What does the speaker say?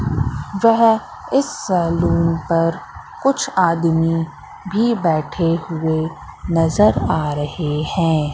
वह इस सैलून पर कुछ आदमी भी बैठे हुए नजर आ रहे हैं।